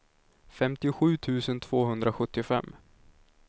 femtiosju tusen tvåhundrasjuttiofem